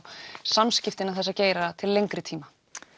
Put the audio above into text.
samskipti innan þessa geira til lengri tíma